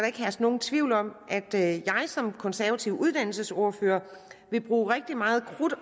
ikke herske nogen tvivl om at jeg som konservativ uddannelsesordfører vil bruge rigtig meget krudt